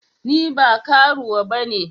Ni ba karuwa bane.